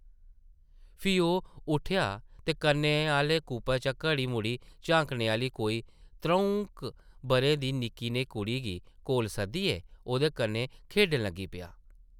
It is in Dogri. फ्ही ओह् उट्ठेआ ते कन्नै आह्ले कूपे चा घड़ी-मुड़ी झांकने आह्ली कोई त्रʼऊं’क बʼरें दी निक्की नेही कुड़ी गी कोल सद्दियै ओह्दे कन्नै खेढन लगी पेआ।